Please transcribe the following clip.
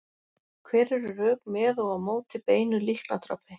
Hver eru rök með og á móti beinu líknardrápi?